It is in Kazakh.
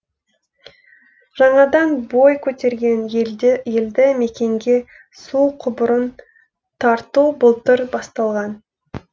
жаңадан бой көтерген елді мекенге су құбырын тарту былтыр басталған